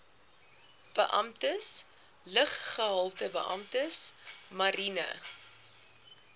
beamptes luggehaltebeamptes mariene